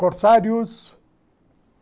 Corsarios?